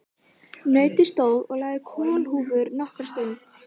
Nautið stóð og lagði kollhúfur nokkra stund.